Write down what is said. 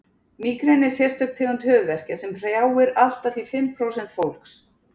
mígreni er sérstök tegund höfuðverkja sem hrjáir allt að því fimm prósent fólks